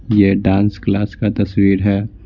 यह dance class का तस्वीर है।